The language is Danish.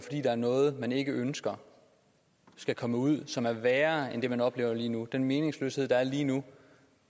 er noget man ikke ønsker skal komme ud som er værre end det man jo oplever lige nu den meningsløshed der er lige nu